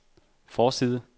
forside